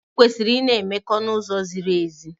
Anyị kwesịrị ị na-emekọ n'uzo ziri ezi.